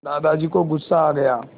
दादाजी को गुस्सा आ गया